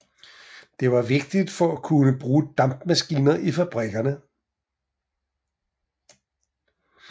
Det var vigtigt for at kunne bruge dampmaskiner i fabrikkerne